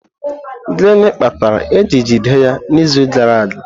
Gịnị kpatara eji jide ya n'izu gara aga?